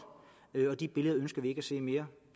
og de billeder ønsker vi ikke at se mere